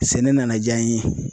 Sɛnɛ nana jaa n ye.